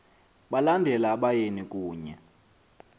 balandela abayeni kunye